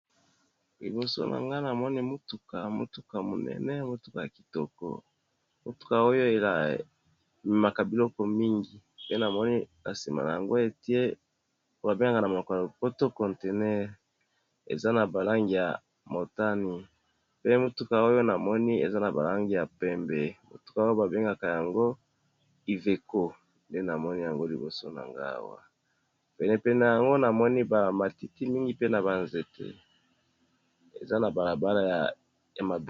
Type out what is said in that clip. Liboso na ngana moni motuka motuka monene motuka ya kitoko, motuka oyo ememaka biloko mingi pe namoni na sima na yango etie ba bengaka monoko ya lopoto contener, eza na ba langi ya motani pe na motuka oyo namoni eza na ba langi ya pembe motuka oyo ba bengaka yango iveco nde namoni yango liboso na nga awa. Penepene yango namoni ba matiti mingi pe na ba nzete, eza na bala bala ya mabele.